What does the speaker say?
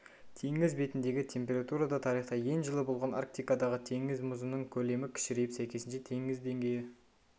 теңіз бетіндегі температура да тарихта ең жылы болған арктикадағы теңіз мұзының көлемі кішірейіп сәйкесінше теңіз деңгейі